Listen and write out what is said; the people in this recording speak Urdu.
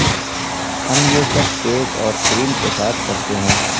ہم یہ سب کیک اور کریم کے ساتھ کرتے ہیں